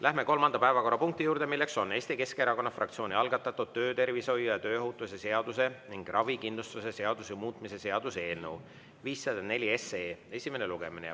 Läheme kolmanda päevakorrapunkti juurde, milleks on Eesti Keskerakonna fraktsiooni algatatud töötervishoiu ja tööohutuse seaduse ning ravikindlustuse seaduse muutmise seaduse eelnõu 504 esimene lugemine.